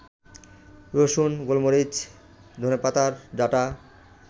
রসুন, গোলমরিচ, ধনেপাতার ডাটা